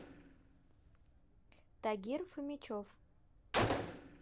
тагир фомичев